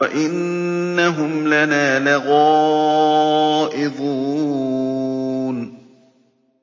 وَإِنَّهُمْ لَنَا لَغَائِظُونَ